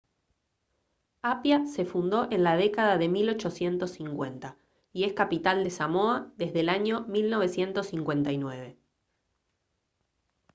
apia se fundó en la década de 1850 y es capital de samoa desde el año 1959